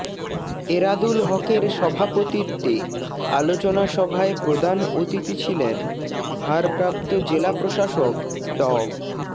এরাদুল হকের সভাপতিত্বে আলোচনাসভায় প্রধান অতিথি ছিলেন ভারপ্রাপ্ত জেলা প্রশাসক ড